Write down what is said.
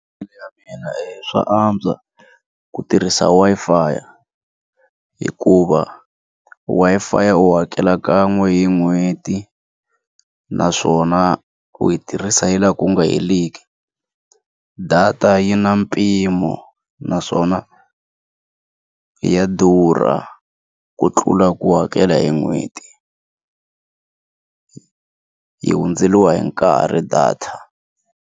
mina hi swa antswa ku tirhisa Wi-Fi hikuva Wi-Fi u hakela kan'we hi n'hweti naswona u yi tirhisa yi laha ku nga heriki data yi na mpimo naswona ya durha ku tlula ku hakela hi n'hweti yi hundzeriwa hi nkarhi data.